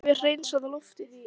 En þetta hefur hreinsað loftið